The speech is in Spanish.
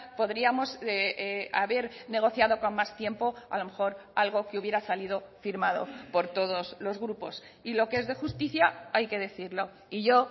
podríamos haber negociado con más tiempo a lo mejor algo que hubiera salido firmado por todos los grupos y lo que es de justicia hay que decirlo y yo